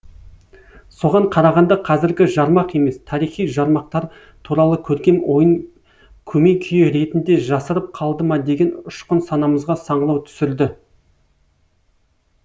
соған қарағанда қазіргі жармақ емес тарихи жармақтар туралы көркем ойын көмей күйі ретінде жасырып қалды ма деген ұшқын санамызға саңлау түсірді